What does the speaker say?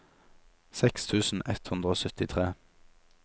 seks tusen ett hundre og syttitre